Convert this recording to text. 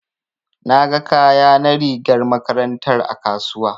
Na ga kaya na rigar makarantar a kasuwa.